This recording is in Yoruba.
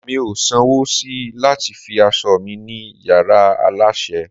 mi o san wo sí lati fi aso mi ni yara aláṣẹ